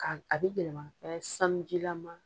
Ka a bɛ yɛlɛma ka kɛ sanujilama ye.